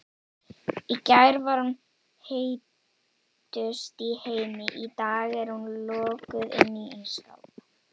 Í gær var hún heitust í heimi, í dag er hún lokuð inni í ísskáp.